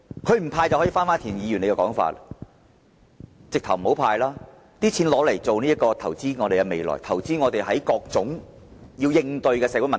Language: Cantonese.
要是政府決定不"派糖"——正如田議員的說法——便應把錢投資在未來及各種要應對的社會問題。